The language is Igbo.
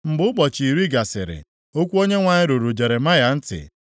Mgbe ụbọchị iri gasịrị okwu Onyenwe anyị ruru Jeremaya ntị.